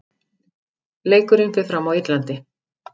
Leikurinn fer fram á Írlandi.